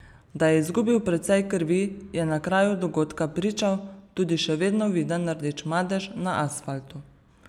Da je izgubil precej krvi, je na kraju dogodka pričal tudi še vedno viden rdeč madež na asfaltu.